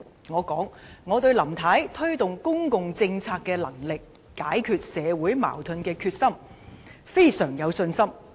我說，我對林太推動公共政策的能力和解決社會矛盾的決心，都非常有信心。